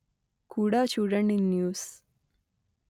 కూడా చూడండి న్యూస్